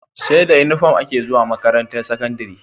Seda inufom ake zuwa makarantar sakandari